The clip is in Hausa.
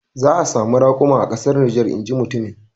Za a samu rakuma a kasar Niger inji mutumin.